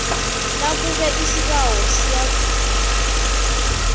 nakube isibawo siyavunywa